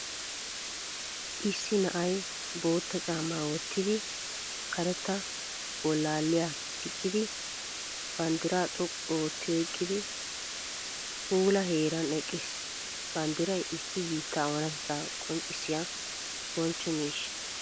Issi na'ay bootta caammaa wottidi. Karetta bolaaliyaa gixxidi, banddiraa xoqqu ootti oyqqidi puula heeran eqqiis. Banddiray issi biittaa oonaatetta qonccissiyaa bonchcho miishsha.